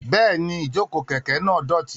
Bẹ́ẹ̀ni, ìjókòó kẹ̀kẹ́ náà dọ̀tí.